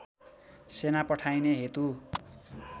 सेना पठाइने हेतु